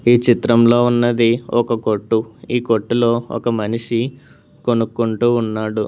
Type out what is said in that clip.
ఈ చిత్రంలో ఉన్నది ఒక కొట్టు ఈ కొట్టులో ఒక మనిషి కొనుక్కుంటూ ఉన్నాడు.